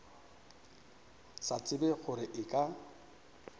sa tsebe gore e ka